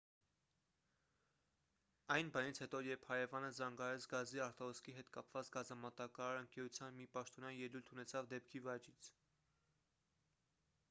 այն բանից հետո երբ հարևանը զանգահարեց գազի արտահոսքի հետ կապված գազամատակարար ընկերության մի պաշտոնյա ելույթ ունեցավ դեպքի վայրից